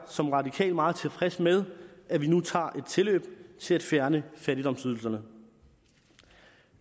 som radikal meget tilfreds med at vi nu tager et tilløb til at fjerne fattigdomsydelserne